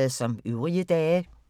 Samme programflade som øvrige dage